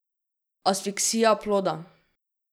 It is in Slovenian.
Asfiksija ploda.